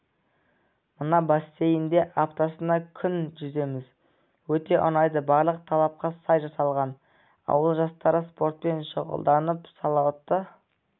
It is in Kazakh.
мына бассейнде аптасына күн жүземіз өте ұнайды барлық талапқа сай жасалған ауыл жастары спортпен шұғылданып салауатты